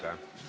Aitäh!